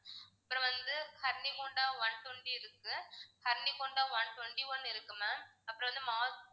அப்பறம் வந்து Honda one twenty இருக்கு ஹோண்டா one twenty one இருக்கு ma'am அப்பறம் வந்து